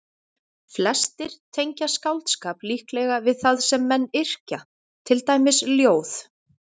Flestir tengja skáldskap líklega við það sem menn yrkja, til dæmis ljóð.